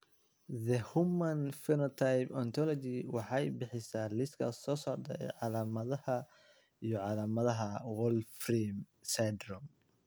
The Human Phenotype Ontology waxay bixisaa liiska soo socda ee calaamadaha iyo calaamadaha Wolfram syndrome.